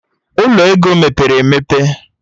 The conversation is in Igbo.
Ụlọ ego mepere emepe